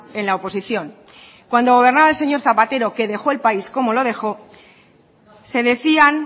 en la oposición cuando gobernaba el señor zapatero que dejó el país como lo dejo se decían